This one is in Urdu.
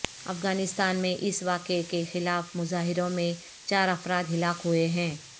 افغانستان میں اس واقعے کے خلاف مظاہروں میں چار افراد ہلاک ہوئے ہیں